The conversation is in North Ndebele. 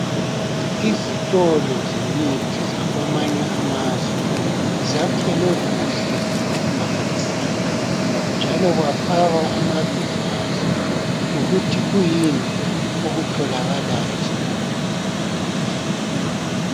Izitolo zemithi zakwamanye amazwe zakhelwe kuhle okumangalisayo .Njalo kwafakwa amabizo azo lokuthi kuyini okutholakalayo.